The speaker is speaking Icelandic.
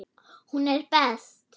Hún er best.